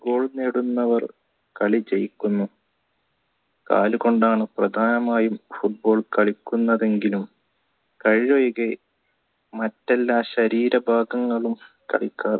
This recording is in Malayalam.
goal നേടുന്നവർ കളി ജയിക്കുന്നു കാല് കൊണ്ടാണ് പ്രധാനമായും football കളിക്കുന്നതെങ്കിലും കൈ ഒഴികെ മറ്റെല്ലാ ശരീര ഭാഗങ്ങളും കളിക്കാർ